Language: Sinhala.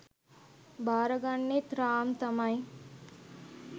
බාරගන්නෙත් රාම් තමයි